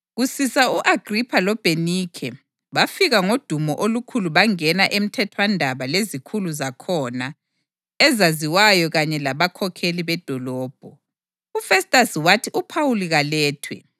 Kusisa u-Agripha loBhenikhe bafika ngodumo olukhulu bangena emthethwandaba lezikhulu zakhona ezaziwayo kanye labakhokheli bedolobho. UFestasi wathi uPhawuli kalethwe.